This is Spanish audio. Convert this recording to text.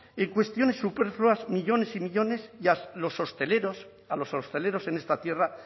en cuestiones superfluas millónes y millónes y a los hosteleros a los hosteleros en esta tierra